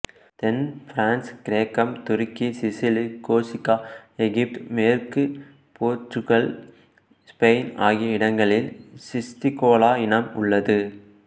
தென் France கிரேக்கம் துருக்கி Sicily Corsica எகிப்து மேற்கு போர்த்துக்கல் இசுபெயின் ஆகிய இடங்களில் சிஸ்டிகோலா இனம் உள்ளது